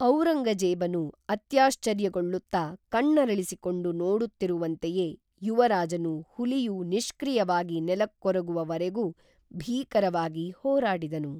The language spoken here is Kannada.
ಔರಂಗಜೇಬನು ಅತ್ಯಾಶ್ಚರ್ಯಗೊಳುತ್ತಾ ಕಣ್ಣರಳಿಸಿಕೊಂಡು ನೋಡುತ್ತಿರುವಂತೆಯೇ ಯುವರಾಜನು ಹುಲಿಯು ನಿಷ್ಕ್ರಿಯವಾಗಿ ನೆಲಕ್ಕೊರಗುವ ವರೆಗೂ ಭೀಕರವಾಗಿ ಹೋರಾಡಿದನು